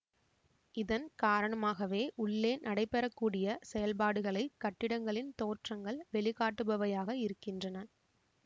இதன் காரணமாகவே உள்ளே நடைபெறக்கூடிய செயல்பாடுகளை கட்டிடங்களின் தோற்றங்கள் வெளிக்காட்டுபவையாக இருக்கின்றன